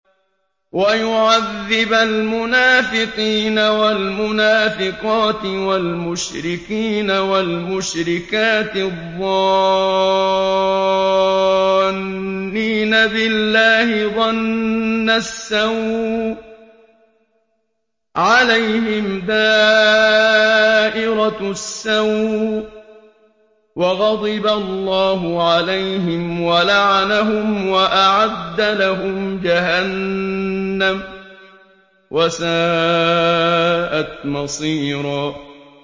وَيُعَذِّبَ الْمُنَافِقِينَ وَالْمُنَافِقَاتِ وَالْمُشْرِكِينَ وَالْمُشْرِكَاتِ الظَّانِّينَ بِاللَّهِ ظَنَّ السَّوْءِ ۚ عَلَيْهِمْ دَائِرَةُ السَّوْءِ ۖ وَغَضِبَ اللَّهُ عَلَيْهِمْ وَلَعَنَهُمْ وَأَعَدَّ لَهُمْ جَهَنَّمَ ۖ وَسَاءَتْ مَصِيرًا